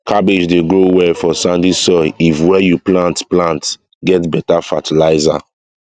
cabbage dey grow well for sandy soil if where you plant plant get better fertilizer